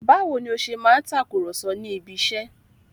Báwo ni ó ṣe máa ń takùrọ̀sọ ní ibiṣẹ́?